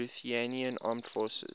lithuanian armed forces